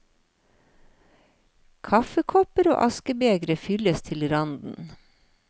Kaffekopper og askebegre fylles til randen.